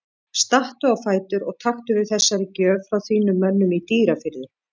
Stattu á fætur og taktu við þessari gjöf frá þínum mönnum í Dýrafirði.